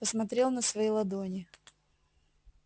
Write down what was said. посмотрел на свои ладони